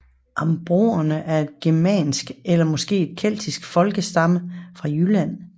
Ambronerne var et germansk eller måske keltisk folkestamme fra Jylland